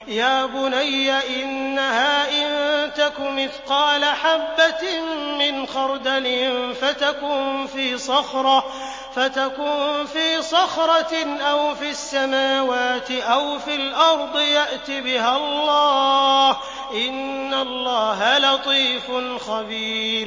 يَا بُنَيَّ إِنَّهَا إِن تَكُ مِثْقَالَ حَبَّةٍ مِّنْ خَرْدَلٍ فَتَكُن فِي صَخْرَةٍ أَوْ فِي السَّمَاوَاتِ أَوْ فِي الْأَرْضِ يَأْتِ بِهَا اللَّهُ ۚ إِنَّ اللَّهَ لَطِيفٌ خَبِيرٌ